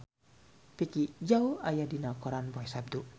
Vicki Zao aya dina koran poe Saptu